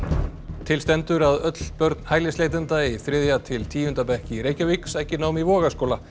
til stendur að öll börn hælisleitenda í þriðja til tíunda bekk í Reykjavík sæki nám í Vogaskóla